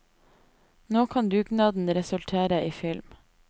Nå kan dugnaden resultere i film.